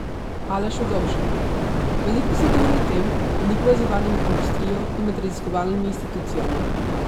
Aleš Ugovšek: "Veliko se govori o tem, da ni povezovanja med industrijo in med raziskovalnimi institucijami.